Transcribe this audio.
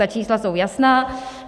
Ta čísla jsou jasná.